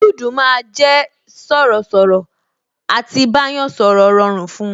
Juudu máa jẹ sọ̀rọ̀ sọ̀rọ̀, à ti bá yàn sọ̀rọ̀ rọrùn fun